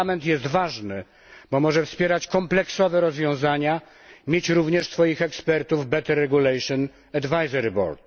Parlament jest ważny, bo może wspierać kompleksowe rozwiązania, mieć również swoich ekspertów w Better Regulation Advisory Board